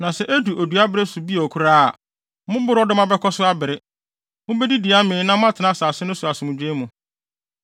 Na sɛ edu odua bere so bio koraa a, mo borɔdɔma bɛkɔ so abere. Mubedidi amee na moatena asase no so asomdwoe mu.